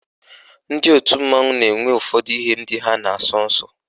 Ndị otu mmanwụ na-enwe ụfọdụ ihe ndị ha na-asọ nsọ